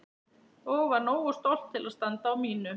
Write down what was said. Og var nógu stolt til að standa á mínu.